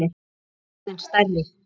Nú var hann orðinn stærri.